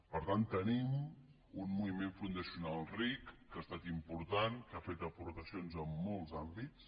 per tant tenim un moviment fundacional ric que ha estat important que ha fet aportacions en molts àm·bits